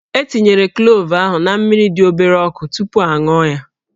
E tinyere klove ahụ na mmiri dị obere ọkụ tupu a ṅụọ ya